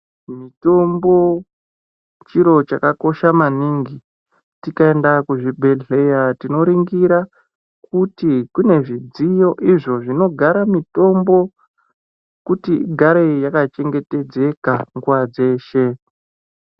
Mitombo chiro chaka kosha maningi tikaenda ku zvibhedhlera tino ringira kuti kune zvidziyo izvo zvinogara mitombo kuti igare yaka chengetedzeka nguva dzeshe.